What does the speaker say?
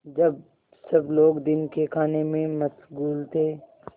जब सब लोग दिन के खाने में मशगूल थे